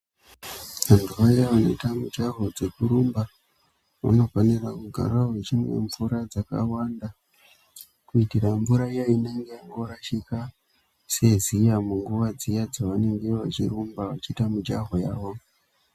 Vantu vaya vanoita mujaho dzekurumba vanofanira kugara vechimwa mvura dzakawanda, kuitira mvura iya inenge yangorashika seziya munguva dziya dzavanenge vachirumba vechiita mijaho yavo.